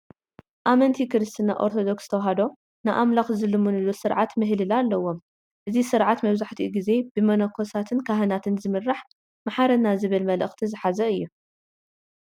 ኣመንቲ ክርስትና ኦርቶዶክስ ተዋህዶ ንኣምላኽ ዝልምንሉ ስርዓተ ምህልላ ኣለዎም፡፡ እዚ ስርዓት መብዛሕትኩ ግዜ ብመነኮሳትን ካህናትን ዝምራሕ መሓረና ዝብል መልእኽቲ ዝሓዘ እዩ፡፡